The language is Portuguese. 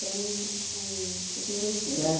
Você tem dois filhos? é